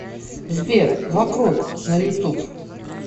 сбер вокруг на ютуб